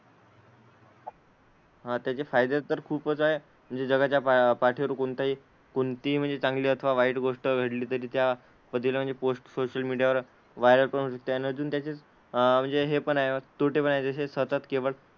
हां त्याचे फायदे तर खूपच आहे. म्हणजे जगाच्या पा पाठीवर कोणताही कोणतीही म्हणजे चांगली अथवा वाईट गोष्ट घडली तरी त्या बद्दल पोस्ट सोशल मीडियावर वायरलपण होऊ शकते आणि अजून त्यांचे अह म्हणजे हे पण आहे तोटेपण आहे जसे सतत केवळ,